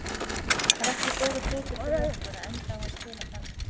Það er ekki góður hlutur fyrir okkur að enda á að spila þannig.